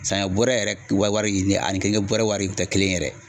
Saɲɔ bɔrɛ yɛrɛ wari ani keninge wari kun tɛ kelen ye yɛrɛ